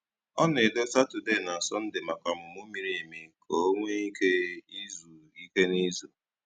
Ọ na-edò Saturday na Sunday maka ọmụmụ miri emi ka o nwee ike izu ike n’izu.